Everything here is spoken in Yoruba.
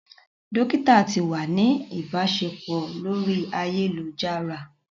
Dokita ti wa ni ibaṣepọ lori ayelujara.